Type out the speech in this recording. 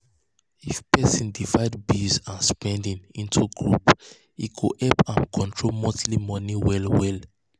if person divide bills and spending into groups e go help am control monthly money well well.